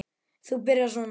Þú byrjar svona.